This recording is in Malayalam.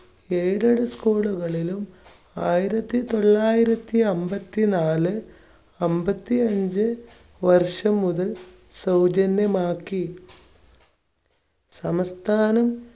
aided school കളിലും ആയിരത്തി തൊള്ളായിരത്തി അൻപത്തിനാല് അൻപത്തിഅഞ്ച് വർഷം മുതൽ സൗജന്യമാക്കി. സംസ്ഥാനം